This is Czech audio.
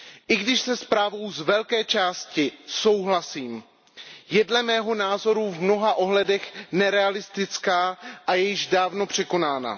I když se zprávou z velké části souhlasím, je dle mého názoru v mnoha ohledech nerealistická a již dávno překonaná.